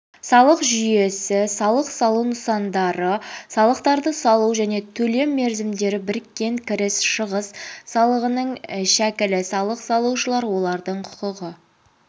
салық жүйесі салық салу нысандары салықтарды салу және төлем мерзімдері біріккен кіріс шығыс салығының шәкілі салық салушылар олардың құқығы